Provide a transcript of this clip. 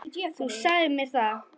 Þú sagðir mér það.